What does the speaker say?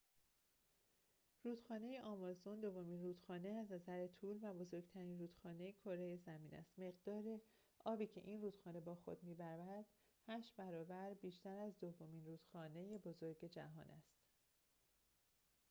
رودخانه آمازون دومین رودخانه از نظر طول و بزرگترین رودخانه کره زمین است مقدار آبی که این رودخانه با خود می‌برد ۸ برابر بیشتر از دومین رودخانه بزرگ جهان است